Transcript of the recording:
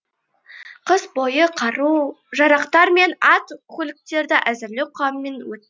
қыс бойы қару жарақтар мен ат көліктерді әзірлеу қамымен өтті